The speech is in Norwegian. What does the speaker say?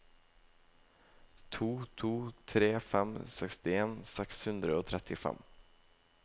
to to tre fem sekstien seks hundre og trettifem